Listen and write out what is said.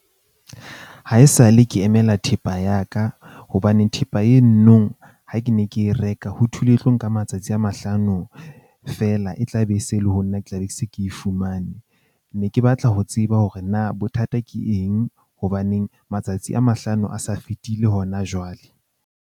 Haesale ke emela thepa ya ka hobane thepa eno nong. Ha ke ne ke e reka ho thulwe e tlo nka matsatsi a mahlano fela e tla be e se e le ho nna ke tla be ke se ke e fumane. Ne ke batla ho tseba hore na bothata ke eng. Hobaneng matsatsi a mahlano a sa fetile hona jwale.